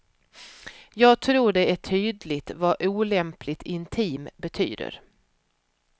Jag tror det är tydligt vad olämpligt intim betyder.